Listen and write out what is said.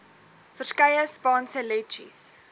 verskeie spanspe letjies